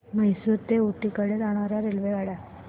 म्हैसूर ते ऊटी कडे जाणार्या रेल्वेगाड्या